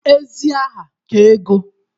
Ezi aha ka ego.